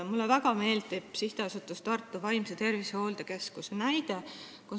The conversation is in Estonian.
Mulle väga meeldib SA Tartu Vaimse Tervise Hooldekeskuse näide.